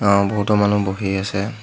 অহ বহুতো মানুহ বহি আছে।